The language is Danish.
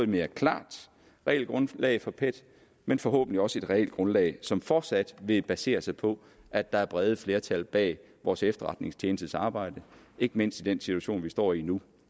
mere klart regelgrundlag for pet men forhåbentlig også et regelgrundlag som fortsat vil basere sig på at der er brede flertal bag vores efterretningstjenestes arbejde ikke mindst i den situation vi står i nu